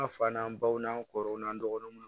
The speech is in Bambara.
An fa n'an baw n'an kɔrɔw n'an dɔgɔninw